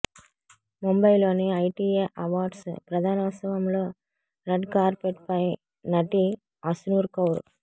ముంబైలోని ITA awards ప్రదానోత్సవంలో red carpet పై నటి ఆశ్నూర్ కౌర్